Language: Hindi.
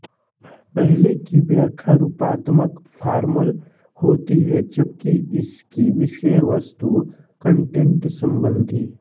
पहले की व्याख्या रूपात्मक फार्मल होती है जबकि इसकी विषयवस्तु कंटेंट संबंधी